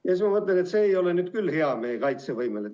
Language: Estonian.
Siis ma mõtlen, et see ei ole nüüd küll meie kaitsevõimele hea.